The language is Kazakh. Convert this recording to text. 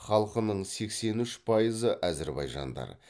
халқының сексен үш пайызы әзірбайжандар